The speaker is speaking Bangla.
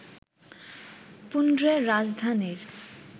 পুণ্ড্রের রাজধানীর